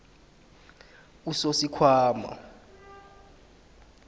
usosikhwama